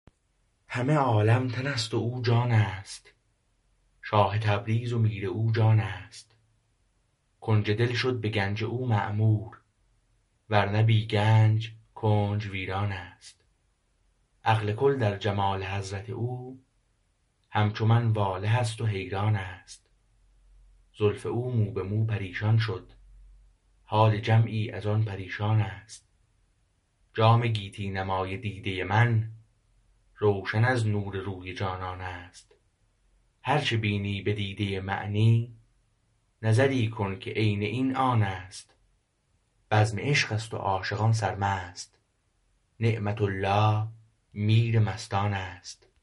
همه عالم تن است و او جان است شاه تبریز و میر او جان است کنج دل شد به گنج او معمور ورنه بی گنج کنج ویرانست عقل کل در جمال حضرت او همچو من واله است و حیران است زلف او مو به مو پریشان شد حال جمعی از آن پریشان است جام گیتی نمای دیده من روشن از نور روی جانان است هرچه بینی به دیده معنی نظری کن که عین این آن است بزم عشقست و عاشقان سرمست نعمت الله میر مستان است